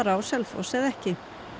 á Selfoss eða ekki